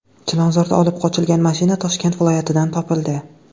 Chilonzordan olib qochilgan mashina Toshkent viloyatidan topildi.